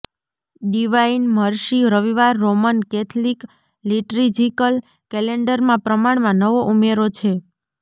divine mercy રવિવાર Roman Catholic liturgical કૅલેન્ડરમાં પ્રમાણમાં નવો ઉમેરો છે